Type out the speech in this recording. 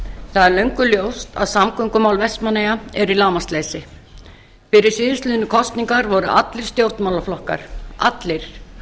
það er löngu ljóst að samgöngumál vestmannaeyja eru í lágmarksleysi fyrir síðustu kosningar voru allir stjórnmálaflokkar allir